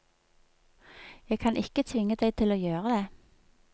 Jeg kan ikke tvinge deg til å gjøre det.